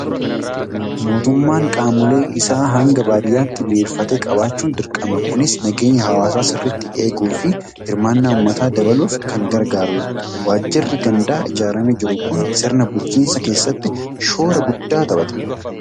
Mootummaan qaamolee isaa hanga baadiyyaatti diriirfatee qabaachuun dirqama. Kunis nageenya hawaasaa sirriitti eeguu fi hirmaannaa uummataa dabaluuf kan gargaarudha. Waajjirri gandaa ijaaramee jiru kun sirna bulchiinsaa keessatti shoora guddaa taphata.